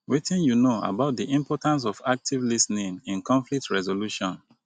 wetin you know about di importance of active lis ten ing in conflict resolution?